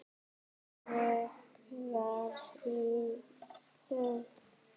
Vökvar í þögn.